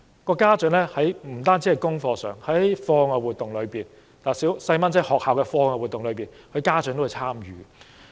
不單在功課上的參與，在孩子學校的課外活動中，很多家長也會參與。